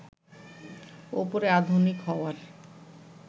ওপরে আধুনিক হওয়ার